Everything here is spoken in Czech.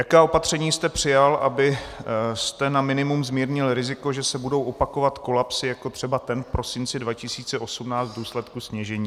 Jaká opatření jste přijal, abyste na minimum zmírnil riziko, že se budou opakovat kolapsy, jako třeba ten v prosinci 2018 v důsledku sněžení?